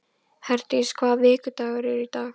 Herdís, hvaða vikudagur er í dag?